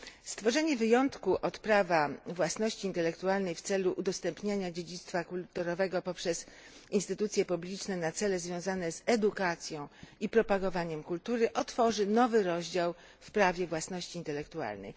Stworzenie wyjątku od prawa własności intelektualnej w celu udostępniania dziedzictwa kulturowego poprzez instytucje publiczne na cele związane z edukacją i propagowaniem kultury otworzy nowy rozdział w prawie własności intelektualnej.